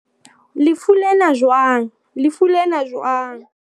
lefu lena jwang? lefu lena jwang?